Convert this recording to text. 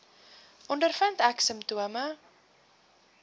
ondervind ek simptome